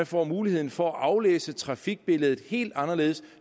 får mulighed for at aflæse trafikbilledet helt anderledes